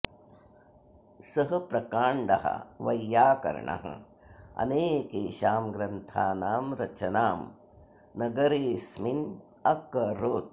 सः प्रकाण्डः वैयाकरणः अनेकेषां ग्रन्थानां रचनां नगरेऽस्मिन् अकरोत्